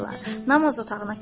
Namaz otağına keçdilər.